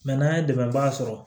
n'an ye dɛmɛba sɔrɔ